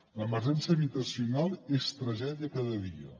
l’emergència habitacional és tragèdia cada dia